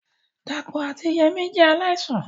Dàpọ̀ àti Yemí jẹ́ aláìsàn